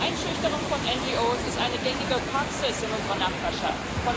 Einschüchterung von NGOs ist eine gängige Praxis in unserer Nachbarschaft.